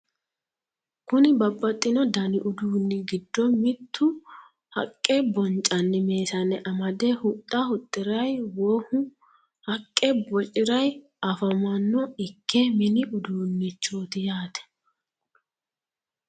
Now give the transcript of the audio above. kuni babbaxino dani uduunni giddo mittu haqqe boncanni meesane amade hudha hudhirayi wou haqqe bociraye afamanno ikke mini uduunichoti yaate.